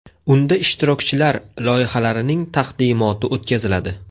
Unda ishtirokchilar loyihalarining taqdimoti o‘tkaziladi.